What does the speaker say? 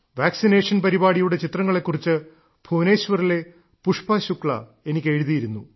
vaccination പരിപാടിയുടെ ചിത്രങ്ങളെ കുറിച്ച് ഭുവനേശ്വറിലെ പുഷ്പ ശുക്ല എനിക്ക് എഴുതിയിരുന്നു